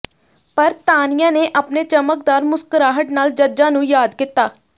ਪਰ ਤਾਨੀਆ ਨੇ ਆਪਣੇ ਚਮਕਦਾਰ ਮੁਸਕਰਾਹਟ ਨਾਲ ਜੱਜਾਂ ਨੂੰ ਯਾਦ ਕੀਤਾ